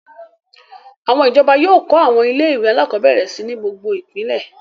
Àwọn ìjọba yóò kọ́ àwọn ilé-ìwé alákọ̀ọ́bẹ̀rẹ̀ si ní gbogbo ìpínlẹ̀.